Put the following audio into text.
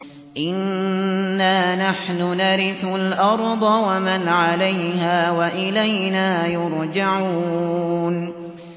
إِنَّا نَحْنُ نَرِثُ الْأَرْضَ وَمَنْ عَلَيْهَا وَإِلَيْنَا يُرْجَعُونَ